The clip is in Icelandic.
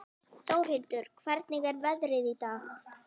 Þórhildur, hvernig er veðrið í dag?